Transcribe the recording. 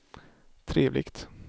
trevligt